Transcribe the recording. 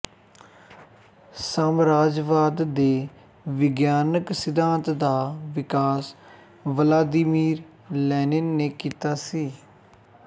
ਸਾਮਰਾਜਵਾਦ ਦੇ ਵਿਗਿਆਨਕ ਸਿਧਾਂਤ ਦਾ ਵਿਕਾਸ ਵਲਾਦੀਮੀਰ ਲੈਨਿਨ ਨੇ ਕੀਤਾ ਸੀ